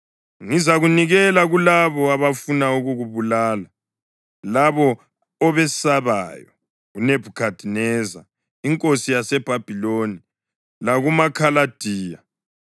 Ngizakunikela kulabo abafuna ukukubulala, labo obesabayo, uNebhukhadineza inkosi yaseBhabhiloni lakumaKhaladiya.